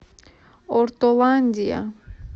ортоландия